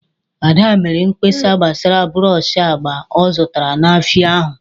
Ada mere mkpesa gbasara brọsh agba ọ zụtara n'ahịa ahụ.